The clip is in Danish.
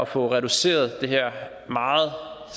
fået reduceret det her